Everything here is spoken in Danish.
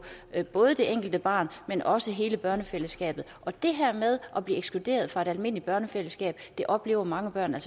både det enkelte barn men også hele børnefællesskabet det her med at blive ekskluderet fra det almindelige børnefællesskab oplever mange børn